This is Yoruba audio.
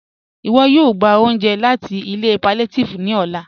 Iwọ̀ yóò gbà ọ̀unje láti ilẹ̀ pàllíàtívì ní ọ̀là